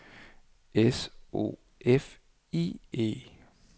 S O F I E